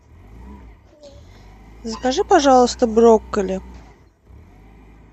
закажи пожалуйста брокколи